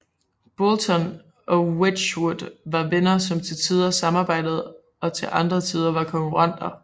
Boulton og Wedgwood var venner som til tider samarbejdede og til andre tider var konkurrenter